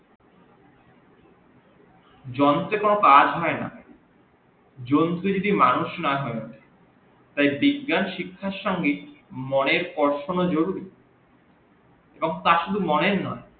জন কে কোন কাজ হই না জন্মে যদি মানুষ না তাই বিজ্ঞান শিক্ষার সঙ্গে মনের পরাও থাকাও জরুরি এবং তা শুধু মনের নই